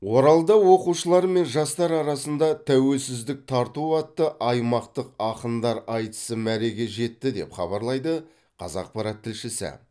оралда оқушылар мен жастар арасында тәуелсіздік тарту атты аймақтық ақындар айтысы мәреге жетті деп хабарлайды қазақпарат тілшісі